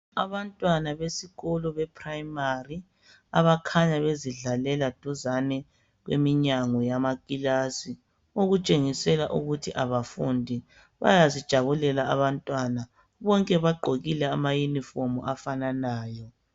Abantwana besikolo be Primary, abakhanya bezidlalela duzane kweminyango yama kilasi. Okutshengisela ukuthi abafundi bayazijabulela abantwana. Bonke bagqokile ama uniform afananayo.